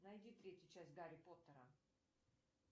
найди третью часть гарри поттера